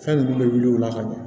Fɛn ninnu bɛ wuli u la ka na